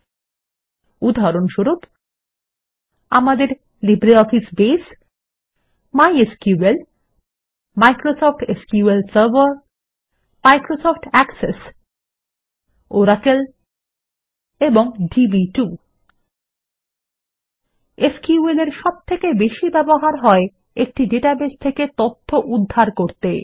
SQL এর সবথেকে বেশি ব্যবহার হয় একটি ডাটাবেস থেকে তথ্য উদ্ধার করতে